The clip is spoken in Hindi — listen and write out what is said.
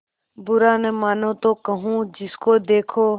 बुरा न मानों तो कहूँ जिसको देखो